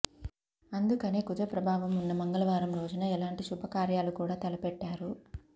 అందుకనే కుజ ప్రభావం ఉన్న మంగళవారం రోజున ఎలాంటి శుభకార్యాలు కూడా తలపెట్టారు